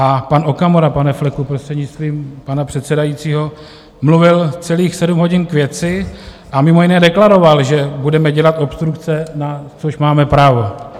A pan Okamura, pane Fleku, prostřednictvím pana předsedajícího, mluvil celých sedm hodin k věci a mimo jiné deklaroval, že budeme dělat obstrukce, na což máme právo.